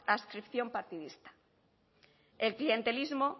adscripción partidista el clientelismo